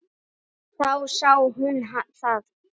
Þá sá hún það.